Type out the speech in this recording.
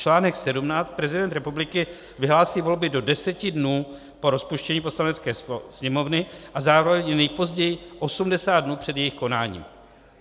Článek 17, prezident republiky vyhlásí volby do deseti dnů po rozpuštění Poslanecké sněmovny a zároveň nejpozději 80 dnů před jejich konáním.